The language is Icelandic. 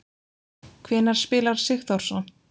Hvenær spilar Sigþórsson?